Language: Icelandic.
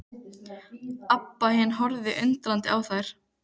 Abba hin horfði undrandi á þær.